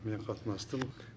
мен қатынастым